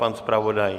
Pan zpravodaj?